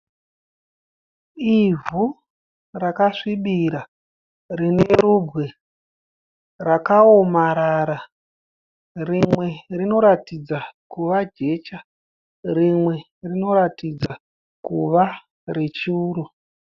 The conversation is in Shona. Ivhu rakasvibira rine rubwe rakaomarara, rimwe rinoratidza kuva jecha rimwe rinoratidza kuva rechuru.